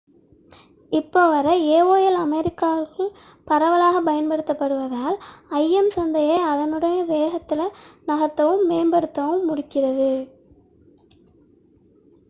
இப்போது வரை aol அமெரிக்காவிற்குள் பரவலாகப் பயன்படுத்தப்படுவதால் im சந்தையை அதனுடைய வேகத்தில் நகர்த்தவும் மேம்படுத்தவும் முடிகிறது